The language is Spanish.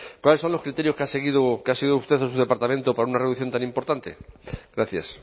cuáles son los criterios que ha seguido sido usted o su departamento para una reducción tan importante gracias